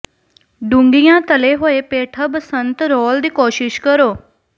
ਡੂੰਘੀਆਂ ਤਲੇ ਹੋਏ ਪੇਠਾ ਬਸੰਤ ਰੋਲ ਦੀ ਕੋਸ਼ਿਸ਼ ਕਰੋ